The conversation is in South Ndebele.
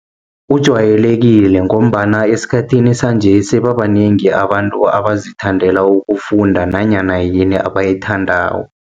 Kujwayelekile, ngombana esikhathini sanje, sebabanengi abantu bazithandela ukufunda, nanyana yini abayithandako.